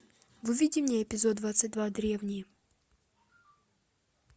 выведи мне эпизод двадцать два древние